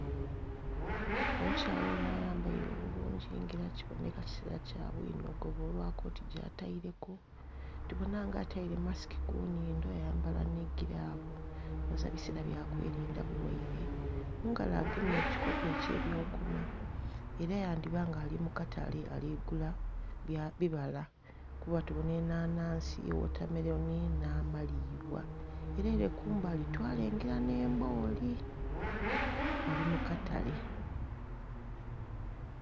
Omukyala ono ayambaire obulungi nga era kibonheka kiseera kya bwinhogovu olwa kooti gyataileku. Tubona nga ataile masiki ku nnhindho yayambala nhi gilavu, ndhowoza biseela bya kwelinda bulwaire. Mu ngalo agemye ekikopo eky'ebyokunhwa era yandiba nga ali mu katale ali gula bibala. Kuba tubona enhanhansi, wotameloni, nh'amalibwa, era ele kumbali twalengera nh'embooli, ali mu katale.